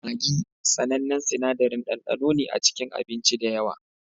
Maggi, sanannen sinadarin ɗandano ne a cikin abinci da yawa